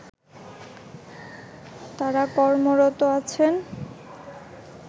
তারা কর্মরত আছেন